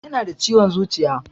Yana da ciwon zuciya